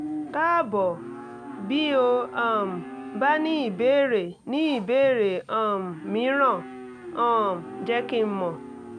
káàbọ̀ bí o um bá ní ìbéèrè ní ìbéèrè um mìíràn um jẹ́ kí n mọ̀